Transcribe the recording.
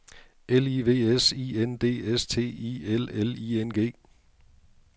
L I V S I N D S T I L L I N G